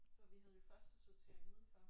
Så vi havde jo første sortering udenfor